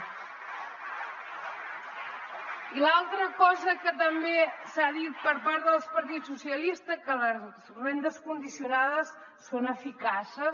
i l’altra cosa que també s’ha dit per part del partit socialista que les rendes condicionades són eficaces